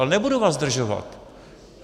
Ale nebudu vás zdržovat.